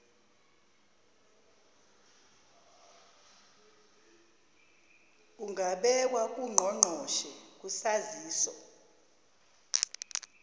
kungabekwa ngungqongqoshe kusaziso